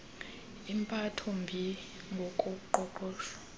impatho mbi ngokoqoqosho